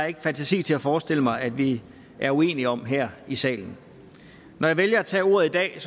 ikke fantasi til forestille mig at vi er uenige om her i salen når jeg vælger at tage ordet i dag